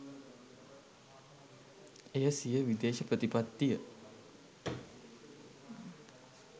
එය සිය විදේශ ප්‍රතිපත්තිය